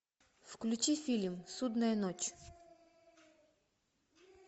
включи фильм судная ночь